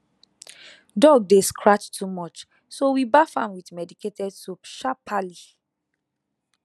dog dey scratch too much so we baff am with medicated soap sharperly